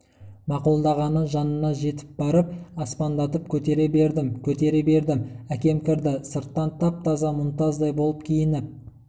мақұлдағаны жанына жетіп барып аспандатып көтере бердім көтере бердім әкем кірді сырттан тап-таза мұнтаздай болып киініп